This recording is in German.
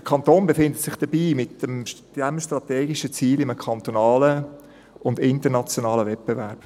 Der Kanton befindet sich mit diesem strategischen Ziel in einem kantonalen uns internationalen Wettbewerb.